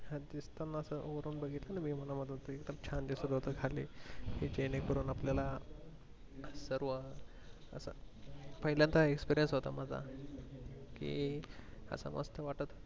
उत्तम अस वरून बघितलं ना view मला एकदम छान दिसत होत खाली जेणे करून आपल्याला सर्व असं पहिल्यानदा experience होता माझा कि असं मस्त वाटत